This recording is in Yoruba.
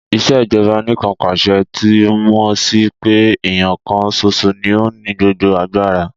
Ìṣèjọba Anìkanpàṣẹ túmọ̀ sí pé èèyàn kan ṣoṣo ní ó ní gbogbo agbára